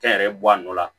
Kɛnyɛrɛye bɔ a nɔ la